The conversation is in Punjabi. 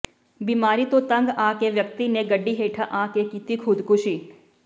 ਬਿਮਾਰੀ ਤੋਂ ਤੰਗ ਆ ਕੇ ਵਿਅਕਤੀ ਨੇ ਗੱਡੀ ਹੇਠਾਂ ਆ ਕੇ ਕੀਤੀ ਖੁਦਕੁਸ਼ੀ